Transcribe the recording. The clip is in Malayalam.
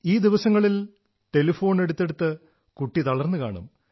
ഈ ദിവസങ്ങളിൽ ടെലഫോൺ എടുത്തെടുത്ത് കുട്ടി തളർന്നു കാണും